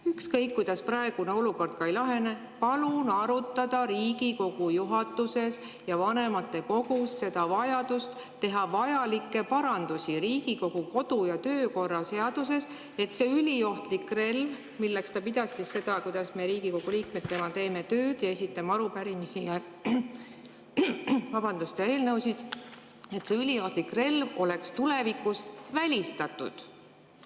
Ükskõik kuidas praegune olukord ka ei lahene, palun arutada Riigikogu juhatuses ja vanematekogus vajadust teha parandusi Riigikogu kodu‑ ja töökorra seaduses, et see üliohtlik relv oleks tulevikus välistatud.